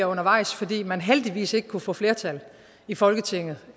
undervejs fordi man heldigvis ikke kunne få flertal i folketinget